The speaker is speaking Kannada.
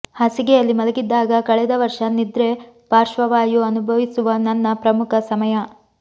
ಹಾಸಿಗೆಯಲ್ಲಿ ಮಲಗಿದ್ದಾಗ ಕಳೆದ ವರ್ಷ ನಿದ್ರೆ ಪಾರ್ಶ್ವವಾಯು ಅನುಭವಿಸುವ ನನ್ನ ಪ್ರಮುಖ ಸಮಯ